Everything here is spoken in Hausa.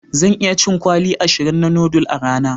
Zan iya cin kwali ashirin na noodle a rana.